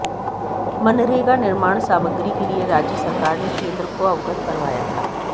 मनरेगा निर्माण सामग्री के लिए राज्य सरकार ने केंद्र को अवगत करवाया था